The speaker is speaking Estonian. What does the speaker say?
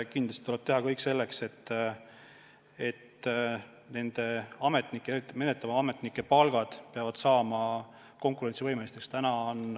Kindlasti tuleb teha kõik selleks, et meie ametnike, eriti menetlevate ametnike palgad saaksid konkurentsivõimeliseks.